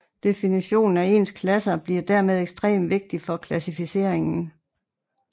Definitionen af ens klasser bliver dermed ekstrem vigtig for klassificeringen